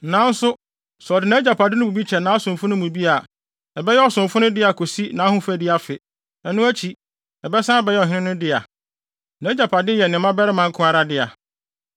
Nanso sɛ ɔde nʼagyapade no mu bi kyɛ nʼasomfo no mu bi a, ɛbɛyɛ ɔsomfo no dea kosi nʼahofadi afe. Ɛno akyi ɛbɛsan abɛyɛ ɔhene no dea. Nʼagyapade yɛ ne mmabarima nko ara dea.